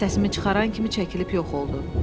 Səsimi çıxaran kimi çəkilib yox oldu.